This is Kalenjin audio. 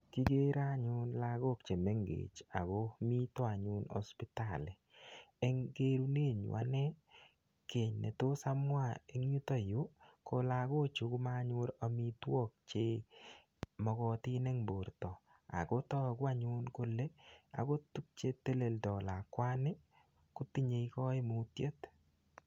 Kigere anyun lagok che mengechen ago mito anyun hospitali. Eng kerunenyu anne, kiy ne tos amwa eng yuto yu ko lagochu komanyor amitwok che magotin eng borto ago tagu anyun kole agot tuk che teleldo lakwani ko tinye kaimutiet.